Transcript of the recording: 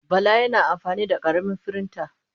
Bala yana amfani da ƙaramin firinta.